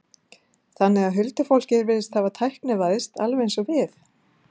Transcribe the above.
Þannig að huldufólkið virðist hafa tæknivæðst, alveg eins og við?